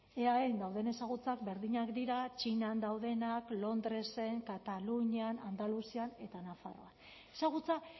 eaen dauden ezagutzak berdinak dira txinan daudenak londresen katalunian andaluzian eta nafarroan ezagutza